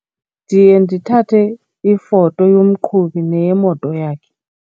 Ndiye ndithathe ifoto yomqhubi neyemoto yakhe.